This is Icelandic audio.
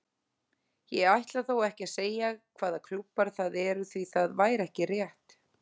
Ég ætla þó ekki að segja hvaða klúbbar það eru því það væri ekki rétt.